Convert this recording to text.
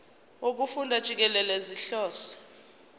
wokufunda jikelele sihlose